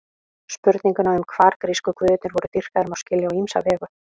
Spurninguna um hvar grísku guðirnir voru dýrkaðir má skilja á ýmsa vegu.